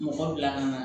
Mɔgɔ bila ka na